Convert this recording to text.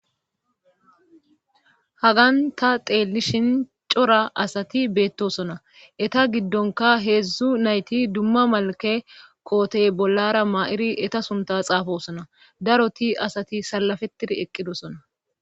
Hagan ta teelishin cora asati beettosona eta giddonka heedzdzu nayti dumma malake kootey bollara ma7iri eta sunta xaafosona daroti asati salafetir eqqidosona.